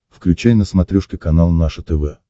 включай на смотрешке канал наше тв